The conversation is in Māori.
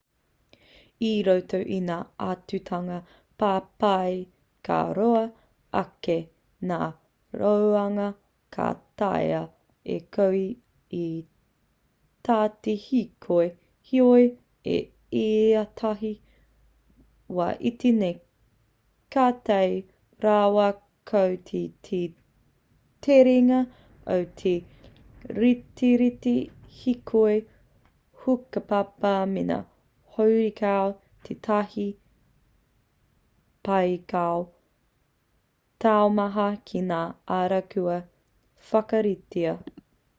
i roto i ngā āhuatanga papai ka roa ake ngā roanga ka taea e koe i tā te hīkoi heoi i ētahi wā iti nei ka tae rawa koe ki te terenga o te retireti hīkoi hukapapa mēnā horekau tētahi pīkau taumaha ki ngā ara kua whakaritea